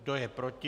Kdo je proti?